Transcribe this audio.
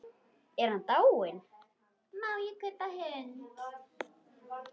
Er hann dáinn?